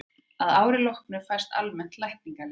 að árinu loknu fæst almennt lækningaleyfi